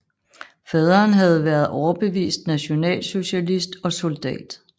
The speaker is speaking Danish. Faderen havde været overbevist nationalsocialist og soldat